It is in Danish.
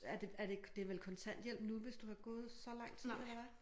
Er det er det det vel kontanthjælp nu hvis du har gået så lang tid eller hvad?